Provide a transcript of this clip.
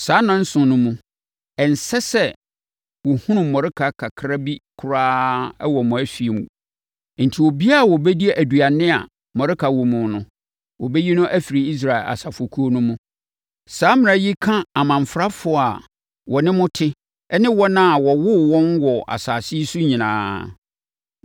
Saa nnanson no mu, ɛnsɛ sɛ wɔhunu mmɔreka kakra bi koraa wɔ mo afie mu. Enti, obiara a ɔbɛdi aduane a mmɔreka wɔ mu no, wɔbɛyi no afiri Israel asafo kuo no mu. Saa mmara yi ka amamfrafoɔ a wɔne mo te ne wɔn a wɔwoo wɔn wɔ asase yi so nyinaa.